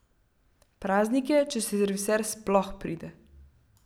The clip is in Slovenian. Praznik je, če serviser sploh pride.